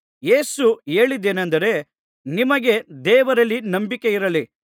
ಯೇಸು ಹೇಳಿದ್ದೇನಂದರೆ ನಿಮಗೆ ದೇವರಲ್ಲಿ ನಂಬಿಕೆಯಿರಲಿ